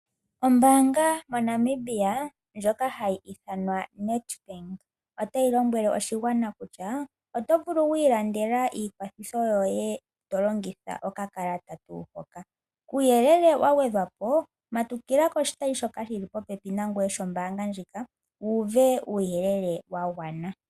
Ombanga moNamibia ndjoka hayi ithanwa Nedbank otayi lombwele oshigwana kutya oto vulu wiilandela iitungitho yoye ito longitha okakalata uuyelele wa gwedhwa po matukila koshitayi shoka shi li popepi nangoye sho mbaanga ndjoka wuuve uuyelele wa gwana.